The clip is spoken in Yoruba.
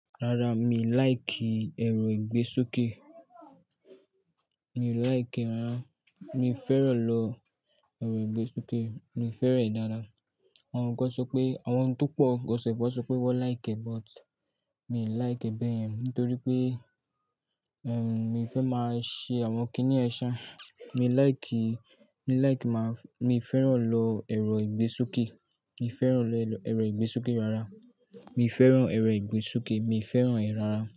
Rárá, mi like ẹrọ ìgbésoké. Mi ò like rárá. Mi ò fẹ́ràn lọ ẹrọ ìgbésoké. Mi ò fẹ́ràn dáadáa. Àwọn kan sọpé àwọn tó pọ̀ gán sọ pé wọ́n like e, but mi ò like bẹ́yen, nítorí pé, mi fẹ́ máa ṣe àwọn kínní sáà. Mi like, mi like ki máa, mi fẹ́ràn lo èro igbesoke. Mi ò fẹ́ràn lọ èrò ìgbésúkẹ́ rárá. Mi fẹ́ràn èrò ìgbésokẹ́, mi fẹ́ràn e rárá.